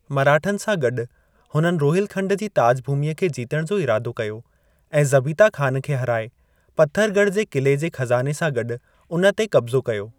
मराठनि सां गॾु, हुननि रोहिलखंड जी ताज भूमिअ खे जीतण जो इरादो कयो ऐं ज़बीता खान खे हाराए, पत्थरगढ़ जे किले जे ख़ज़ाने सां गॾु उन ते क़ब्ज़ो कयो।